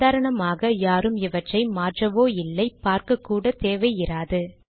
சாதாரணமாக யாரும் இவற்றை மாற்றவோ இல்லை பார்க்கக்கூட தேவை இராது